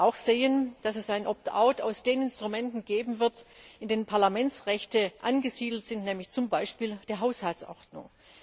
Wir werden auch sehen, dass es einen Optout aus den Instrumenten geben wird, in denen Parlamentsrechte angesiedelt sind, zum Beispiel der Haushaltsordnung.